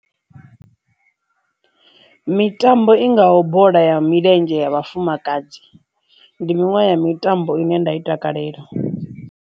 Mitambo i ngaho bola ya milenzhe ya vhafumakadzi ndi miṅwe ya mitambo ine nda i takalela.